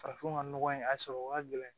Farafin ka nɔgɔ in a sɔrɔ ka gɛlɛn